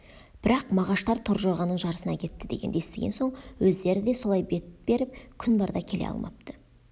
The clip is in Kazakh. бірақ мағаштар торжорғаның жарысына кетті дегенді естіген соң өздері де солай бет беріп күн барда келе алмапты